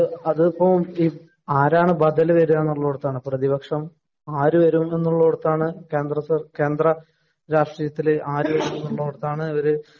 അതിപ്പോ ആരാണ് ബദല് വരിക എന്നുള്ളിടത്താണ്. പ്രതിപക്ഷം ആരും വരുമെന്നോര്‍ത്താണ്, കേന്ദ്ര രാഷ്ടീയത്തില്‍ ആരു വരുമെന്നോര്‍ത്താണ് ഇവര്